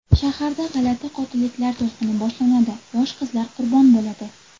Shaharda g‘alati qotilliklar to‘lqini boshlanadi, yosh qizlar qurbon bo‘ladi.